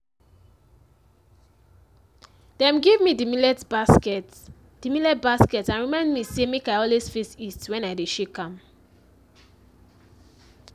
dem give me di millet basket di millet basket and remind me say make i always face east when i dey shake am.